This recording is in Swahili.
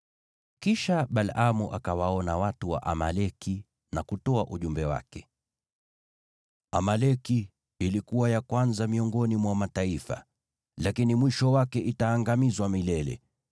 Kisha Balaamu akawaona watu wa Amaleki, na kutoa ujumbe wake: “Amaleki ilikuwa ya kwanza miongoni mwa mataifa, lakini mwisho wake itaangamizwa milele.”